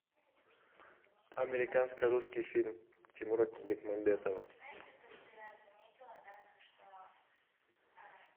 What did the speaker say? американско русский фильм тимура бекмамбетова